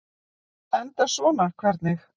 Enda svona hvernig?